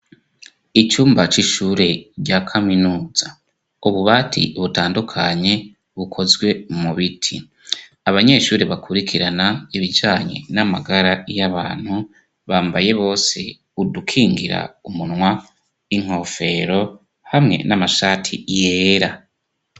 Icumba c'ishure rya kaminuza. Ububati butandukanye bukozwe mu biti. Abanyeshuri bakurikirana ibijanye n'amagara y'abantu bambaye bose udukingira umunwa, inkofero hamwe n'amashati yera.